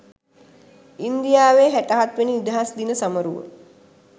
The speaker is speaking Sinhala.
ඉන්දියාවේ හැට හත් වෙනි නිදහස් දින සමරුව